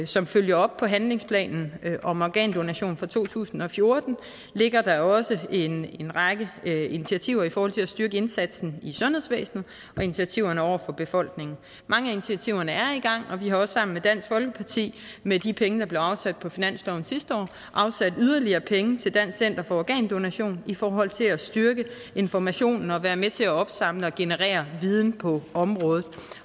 som følger op på handlingsplanen om organdonation fra to tusind og fjorten ligger der også en række initiativer i forhold til at styrke indsatsen i sundhedsvæsenet og initiativer over for befolkningen mange af initiativerne er i gang og vi har også sammen med dansk folkeparti med de penge der blev afsat på finansloven sidste år afsat yderligere penge til dansk center for organdonation i forhold til at styrke informationen og være med til at opsamle og generere viden på området